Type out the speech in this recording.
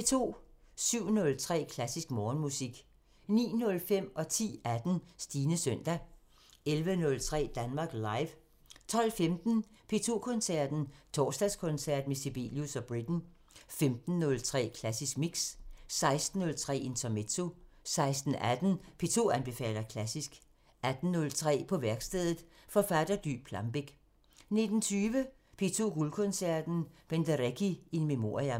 07:03: Klassisk Morgenmusik 09:05: Stines søndag 10:18: Stines søndag 11:03: Danmark Live 12:15: P2 Koncerten – Torsdagskoncert med Sibelius og Britten 15:03: Klassisk Mix 16:03: Intermezzo 16:18: P2 anbefaler klassisk 18:03: På værkstedet – Forfatter Dy Plambeck 19:20: P2 Guldkoncerten – Penderecki in memoriam